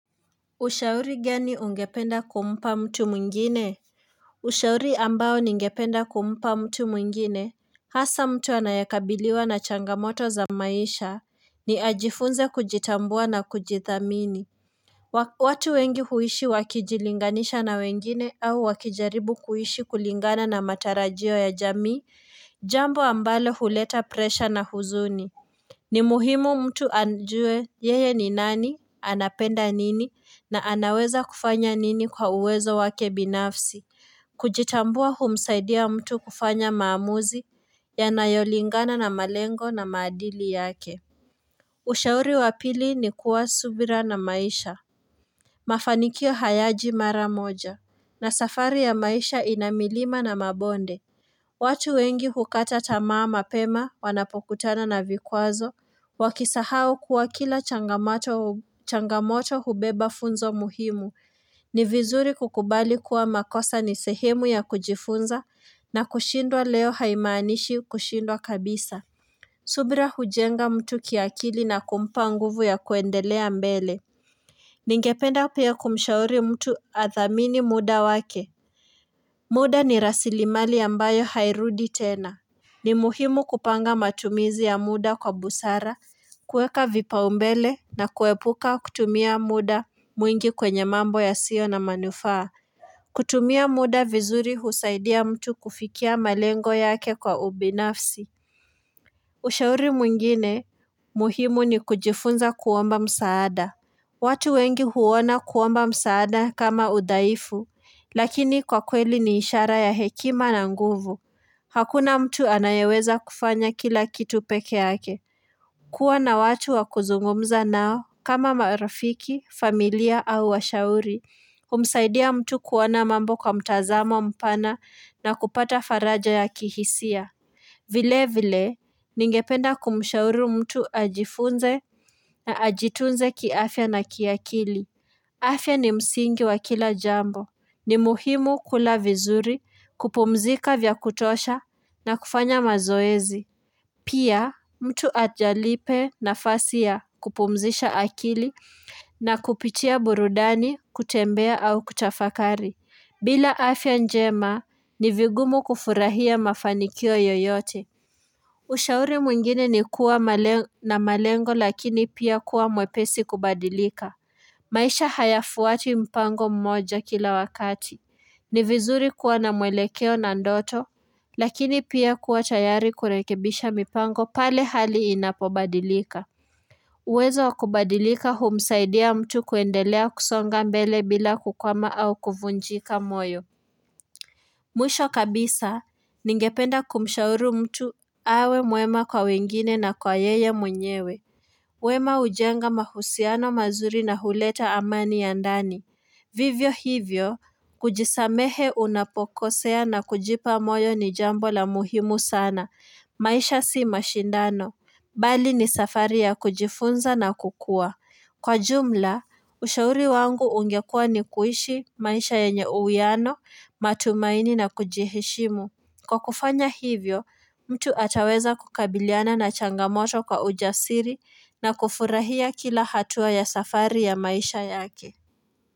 Ushauri gani ungependa kumpa mtu mwengine ushauri ambao ningependa kumpa mtu mwengine hasa mtu anayekabiliwa na changamoto za maisha ni ajifunze kujitambua na kujithamini watu wengi huishi wakijilinganisha na wengine au wakijaribu kuishi kulingana na matarajio ya jamii jambo ambalo huleta presha na huzuni ni muhimu mtu ajue yeye ni nani, anapenda nini na anaweza kufanya nini kwa uwezo wake binafsi. Kujitambua humsaidia mtu kufanya maamuzi yanayolingana na malengo na maadili yake. Ushauri wa pili ni kuwa subira na maisha. Mafanikio hayaji mara moja na safari ya maisha ina milima na mabonde. Watu wengi hukata tamaa mapema, wanapokutana na vikwazo, wakisahau kuwa kila changamoto hubeba funzo muhimu, ni vizuri kukubali kuwa makosa ni sehemu ya kujifunza na kushindwa leo haimanishi kushindwa kabisa. Subira hujenga mtu kiakili na kumpa nguvu ya kuendelea mbele. Ningependa pia kumshauri mtu athamini muda wake. Muda ni rasilimali ambayo hairudi tena. Ni muhimu kupanga matumizi ya muda kwa busara, kueka vipaumbele na kuepuka kutumia muda mwingi kwenye mambo yasio na manufaa. Kutumia muda vizuri husaidia mtu kufikia malengo yake kwa ubinafsi. Ushauri mwingine muhimu ni kujifunza kuomba msaada. Watu wengi huona kuomba msaada kama udhaifu, lakini kwa kweli ni ishara ya hekima na nguvu. Hakuna mtu anayeweza kufanya kila kitu peke yake. Kuwa na watu wa kuzungumza nao kama marafiki, familia au washauri. Humsaidia mtu kuona mambo kwa mtazamo mpana na kupata faraja ya kihisia. Vile vile, ningependa kumshauri mtu ajifunze na ajitunze kiafya na kiakili. Afya ni msingi wa kila jambo. Ni muhimu kula vizuri kupumzika vya kutosha na kufanya mazoezi. Pia, mtu ajalipe nafasi ya kupumzisha akili na kupitia burudani kutembea au kutafakari. Bila afya njema ni vigumu kufurahia mafanikio yoyote. Ushauri mwingine ni kuwa na malengo lakini pia kuwa mwepesi kubadilika maisha hayafuati mpango mmoja kila wakati ni vizuri kuwa na mwelekeo na ndoto Lakini pia kuwa tayari kurekebisha mipango pale hali inapobadilika uwezo wa kubadilika humsaidia mtu kuendelea kusonga mbele bila kukwama au kuvunjika moyo Mwisho kabisa, ningependa kumshauru mtu awe mwema kwa wengine na kwa yeye mwenyewe. Wema hujenga mahusiano mazuri na huleta amani ya ndani. Vivyo hivyo, kujisamehe unapokosea na kujipa moyo ni jambo la muhimu sana. Maisha si mashindano. Bali ni safari ya kujifunza na kukua. Kwa jumla, ushauri wangu ungekua ni kuishi maisha yenye uwiano, matumaini na kujiheshimu. Kwa kufanya hivyo, mtu ataweza kukabiliana na changamoto kwa ujasiri na kufurahia kila hatua ya safari ya maisha yake.